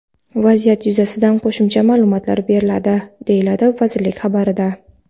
Vaziyat yuzasidan qo‘shimcha ma’lumotlar beriladi”, deyiladi vazirlik xabarida.